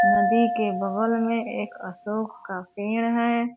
नदी के बगल में एक अशोक का पेड़ है।